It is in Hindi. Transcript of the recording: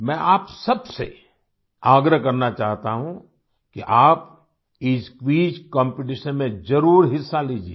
मैं आप सब से आग्रह करना चाहता हूँ कि आप इस क्विज कॉम्पिटिशन में ज़रुर हिस्सा लीजिये